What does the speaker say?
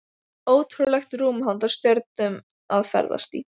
Ótrúlegt rúm handa stjörnum að ferðast í.